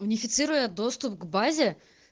унифицируя доступ к базе